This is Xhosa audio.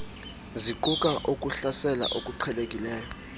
ziquka ukuhlasela okuqhelekileyo